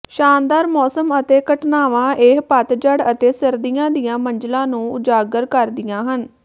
ਸ਼ਾਨਦਾਰ ਮੌਸਮ ਅਤੇ ਘਟਨਾਵਾਂ ਇਹ ਪਤਝੜ ਅਤੇ ਸਰਦੀਆਂ ਦੀਆਂ ਮੰਜ਼ਲਾਂ ਨੂੰ ਉਜਾਗਰ ਕਰਦੀਆਂ ਹਨ